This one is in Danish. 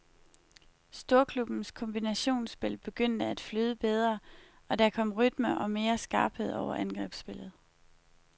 Storklubbbens kombinationsspil begyndte at flyde bedre, og der kom rytme og mere skarphed over angrebsspillet.